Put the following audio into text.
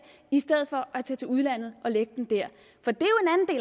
i stedet for at tage til udlandet og lægge den der for det